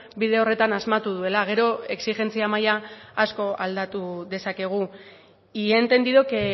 bide horretan asmatu duela gero exijentzia maila asko aldatu dezakegu y he entendido que